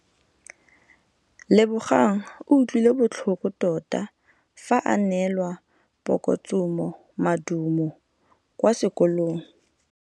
Lebogang o utlwile botlhoko tota fa a neelwa phokotsômaduô kwa sekolong.